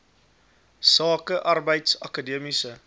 sake arbeids akademiese